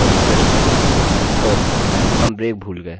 अतःचलिए यहाँ अंत में बस इसे जोड़ देते हैं